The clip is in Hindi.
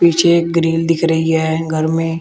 पीछे ग्रिल दिख रही है घर में।